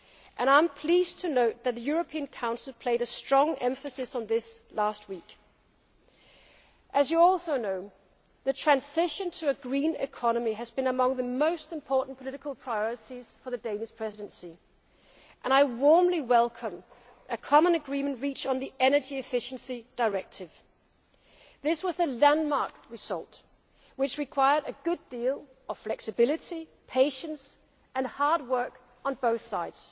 for the Danish Presidency throughout these six months, and I am pleased to note that the European Council placed strong emphasis on this last week. As you also know, the transition to a green economy has been among the most important political priorities for the Danish Presidency, and I warmly welcome the common agreement reached on the Energy Efficiency Directive. This was a landmark result which required a